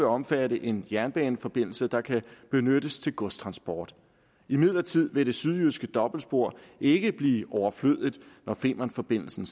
omfatte en jernbaneforbindelse der kan benyttes til godstransport imidlertid vil det sydjyske dobbeltspor ikke blive overflødigt når femernforbindelsen